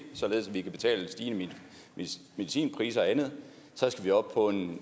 således at vi kan betale stigende medicinpriser og andet så skal vi op på